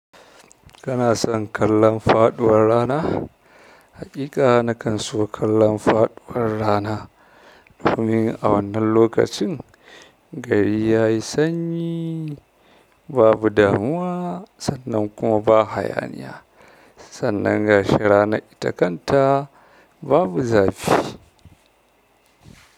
Kana son kallon faɗuwar rana? Hakika na kan so kallon faɗuwar rana. Domin a wannan lokacin gari yayi sanyi babu damuwa sannan kuma ba hayaniya, sannan gashi ranan ita kanta babu zafi.